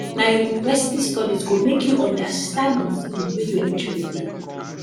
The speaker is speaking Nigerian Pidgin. na your university studies go make you understand the field wey your interest dey